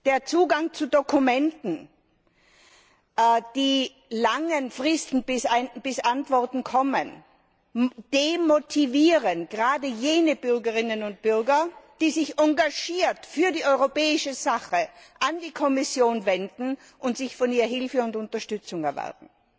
Der Zugang zu Dokumenten und die langen Fristen, bis Antworten kommen, demotivieren gerade jene Bürgerinnen und Bürger, die sich engagiert für die europäische Sache an die Kommission wenden und sich von ihr Hilfe und Unterstützung erwarten.